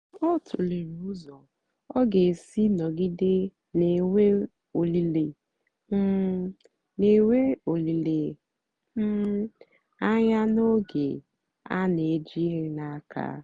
ọ tụ̀lèrè ụ́zọ́ ọ ga-èsì nọ̀gìdè na-ènwé òlìlè um na-ènwé òlìlè um ànyá n'ógè a na-èjìghị́ n'àka.